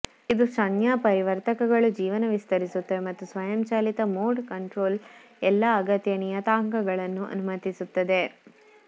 ಇದು ಸಂಜ್ಞಾಪರಿವರ್ತಕಗಳು ಜೀವನ ವಿಸ್ತರಿಸುತ್ತದೆ ಮತ್ತು ಸ್ವಯಂ ಚಾಲಿತ ಮೋಡ್ ಕಂಟ್ರೋಲ್ ಎಲ್ಲಾ ಅಗತ್ಯ ನಿಯತಾಂಕಗಳನ್ನು ಅನುಮತಿಸುತ್ತದೆ